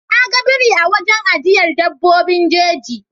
Na ga biri a wurin ajiyar dabbobin jeji.